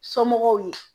Somɔgɔw ye